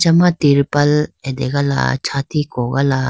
ama tirpal ategala chati kogala.